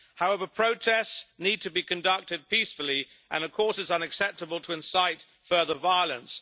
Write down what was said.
However, protests need to be conducted peacefully, and of course it is unacceptable to incite further violence.